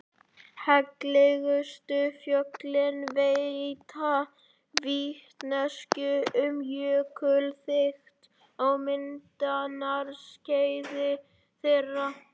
Heillegustu fjöllin veita vitneskju um jökulþykkt á myndunarskeiði þeirra.